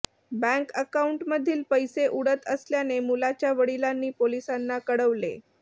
bank अकाऊंटमधील पैसे उडत असल्याने मुलाच्या वडिलांनी पोलिसांना कळवले